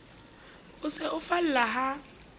o se o falla ha